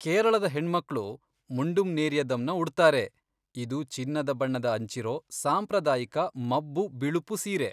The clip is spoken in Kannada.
ಕೇರಳದ ಹೆಣ್ಮಕ್ಳು ಮುಂಡುಂ ನೇರಿಯದಮ್ನ ಉಡ್ತಾರೆ, ಇದು ಚಿನ್ನದ ಬಣ್ಣದ ಅಂಚಿರೋ ಸಾಂಪ್ರದಾಯಿಕ ಮಬ್ಬು ಬಿಳುಪು ಸೀರೆ.